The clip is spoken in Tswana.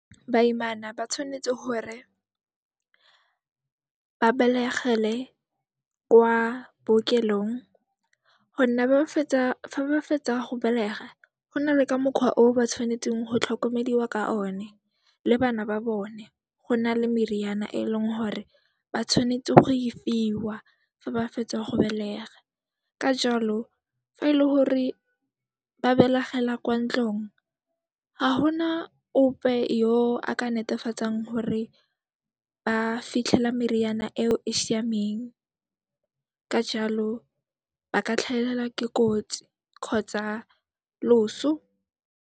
Baimana ba tshwanetse hore ba belegele kwa bookelong gonne fa ba fetsa go belega, go nale ka mokgwa o ba tshwanetseng go tlhokomediwa ka one le bana ba bone. Go na le meriana e leng hore ba tshwanetse go e fiwa fa ba fetsa go belega. Ka jalo, fa e le gore ba belegela kwa ntlong ha ho na ope yo a ka netefatsang hore ba fitlhela meriana eo e siameng. Ka jalo, ba ka tlhahelwa ke kotsi kgotsa loso.